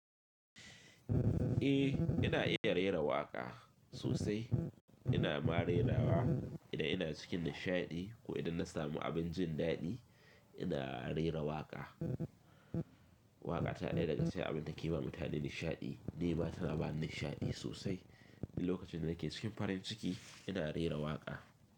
Eh ina iya rera waƙa sosai ina ma rerawa idan ina cikin nishaɗi ko idan na samu abin jin daɗi ina rera waƙa. Waƙa ta ɗaya daga cikin abin da ke ba mutane nishaɗi ni ma tana ba ni nishaɗi sosai. Ni lokacin da nake cikin farin ciki ina rera waƙa.